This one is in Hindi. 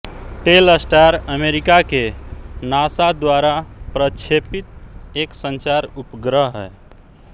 टेलस्टार अमेरिका के नासा द्वारा प्रक्षेपित एक संचार उपग्रह है